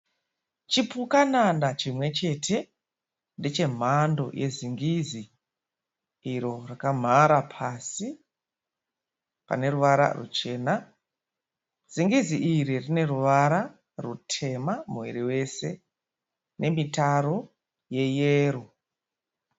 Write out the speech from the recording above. Chipukanana chimwe chete. Ndechemhando yezingizi iro rakamhara pasi pane ruvara ruchena. Zingizi iri rine ruvara rutema muviri wese nemitaro yeyero.